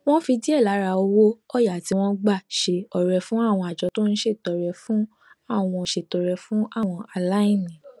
wón fi díè lára owó òyà tí wón gbà ṣe ọrẹ fún àwọn àjọ tó ń ṣètọrẹ fún àwọn ṣètọrẹ fún àwọn aláìní